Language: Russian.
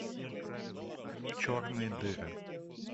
черные дыры